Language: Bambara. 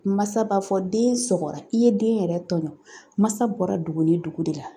Mansa b'a fɔ den sɔgɔra i ye den yɛrɛ tɔɲɔ mansa bɔra dugu ni dugu de la